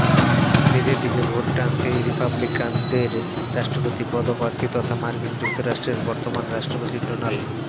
নিজের দিকে ভোট টানতে রিপাবলিকানদের রাষ্ট্রপতি পদপ্রার্থী তথা মার্কিন যুক্তরাষ্ট্রের বর্তমান রাষ্ট্রপতি ডোনাল